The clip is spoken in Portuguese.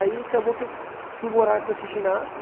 Aí acabou que eu fu fui morar com esse ginasta,